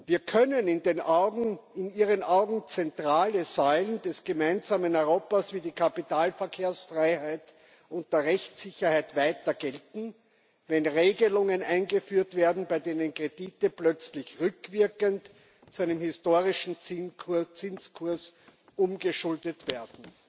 Wie können in Ihren Augen zentrale Säulen des gemeinsamen Europas, wie die Kapitalverkehrsfreiheit und die Rechtssicherheit weiter gelten, wenn Regelungen eingeführt werden, bei denen Kredite plötzlich rückwirkend zu einem historischen Zinskurs umgeschuldet werden?